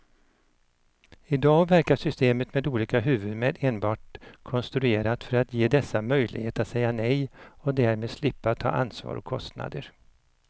I dag verkar systemet med olika huvudmän enbart konstruerat för att ge dessa möjlighet att säga nej och därmed slippa ta ansvar och kostnader.